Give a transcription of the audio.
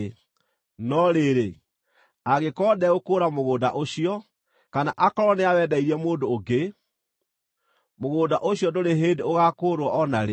No rĩrĩ, angĩkorwo ndegũkũũra mũgũnda ũcio, kana aakorwo nĩawendeirie mũndũ ũngĩ, mũgũnda ũcio ndũrĩ hĩndĩ ũgaakũũrwo o na rĩ.